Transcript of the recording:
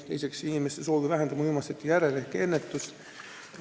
Teiseks, inimeste soovi vähendamine uimastite järele ehk ennetus.